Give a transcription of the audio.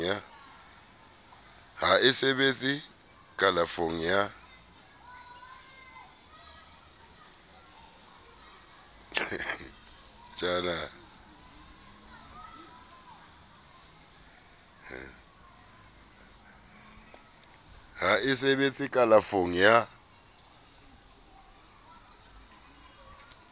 ha e sebetse kalafong ya